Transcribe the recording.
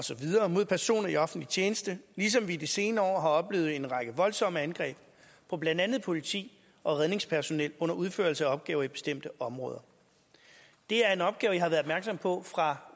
og så videre mod personer i offentlig tjeneste ligesom vi i de senere år har oplevet en række voldsomme angreb på blandt andet politi og redningspersonel under udførelse af opgaver i bestemte områder det er en opgave jeg har været opmærksom på fra